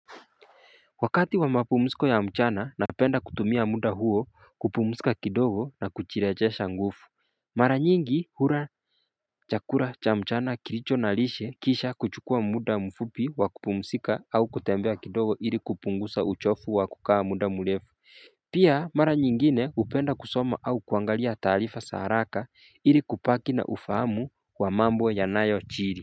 Wakati wa mapumziko ya mchana na penda kutumia muda huo kupumzika kidogo na kujirejesha nguvu Mara nyingi hula chakula cha mchana kilicho na lishe kisha kuchukua muda mfupi wa kupumzika au kutembea kidogo ili kupungusa uchofu wa kukaa muda murefu Pia mara nyingine hupenda kusoma au kuangalia taarifa za haraka ili kubaki na ufahamu wa mambo ya nayo jiri.